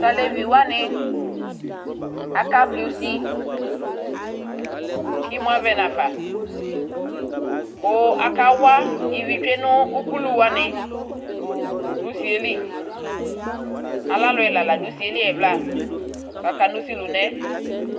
taleviwani aka vli usi kemu avɛ nafa ku akawa ivitueno ukuluwani no usieli alaluɛla ladu usieli ɛvla kakanu usilunɛ